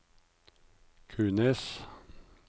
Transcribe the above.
Kunes